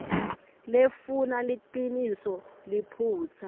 lefuna liciniso liphutsa